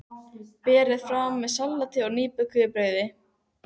Berið fram með salati og nýbökuðu brauði.